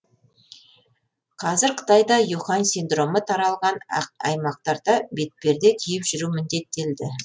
қазір қытайда ухань синдромы таралған аймақтарда бетперде киіп жүру міндеттелді